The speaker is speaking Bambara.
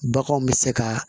Baganw bɛ se ka